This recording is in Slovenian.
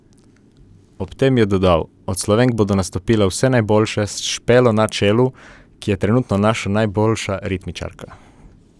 Ob tem je dodal: "Od Slovenk bodo nastopile vse najboljše, s Špelo na čelu, ki je trenutno naša najboljša ritmičarka.